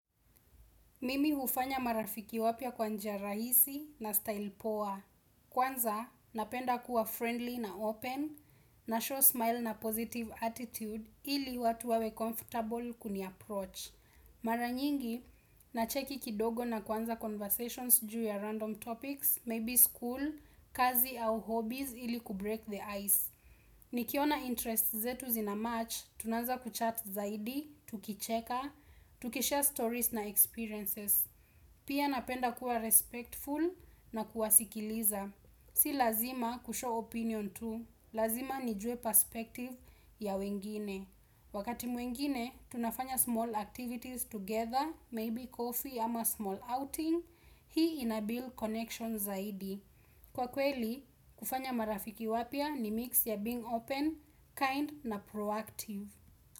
Mimi hufanya marafiki wapya kwa njia rahisi na style poa Kwanza, napenda kuwa friendly na open, na show smile na positive attitude ili watu wawe comfortable kuni approach. Maranyingi, nacheki kidogo na kwanza conversations juu ya random topics, maybe school, kazi au hobbies ili kubreak the ice. Nikiona interests zetu zina match, tunanza kuchat zaidi, tukicheka, tukishare stories na experiences. Pia napenda kuwa respectful na kuwasikiliza. Si lazima kushow opinion tu, lazima nijue perspective ya wengine. Wakati mwengine, tunafanya small activities together, maybe coffee ama small outing, hii inabuild connections zaidi. Kwa kweli, kufanya marafiki wapya ni mix ya being open, kind na proactive.